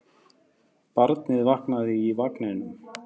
Barnið vaknaði í vagninum.